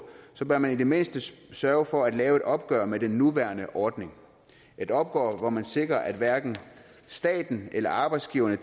så bør man i det mindste sørge for at lave et opgør med den nuværende ordning et opgør hvor man sikrer at hverken staten eller arbejdsgiverne